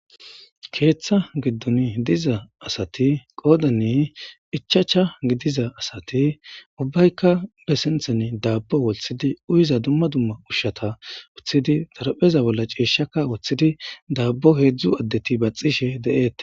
Keeththa giddoni diza asathi qoodani ichchacha gidiza asathi ubbayka be sinththeni daabbo woththidi uyiza dumma dumma ushshatha woththidi xarapheza bolla ciishshaka woththidi daabbo heezzu addethi baththishee de7eeththes.